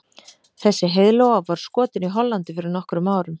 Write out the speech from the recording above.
Þessi heiðlóa var skotin í Hollandi fyrir nokkrum árum.